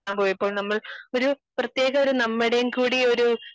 പോയപ്പോൾ ഒരു പ്രത്യേക ഒരു നമ്മുടേം കൂടി ഒരു